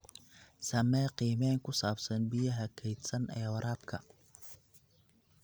Samee qiimayn ku saabsan biyaha kaydsan ee waraabka.